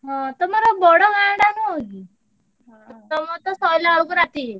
ହଁ ତମର ବଡ ଗାଁଟା ନୁହଁ କି। ତମରତ ସଇଲା ବେଳକୁ ରାତି ହେଇଯାଇଥିବ।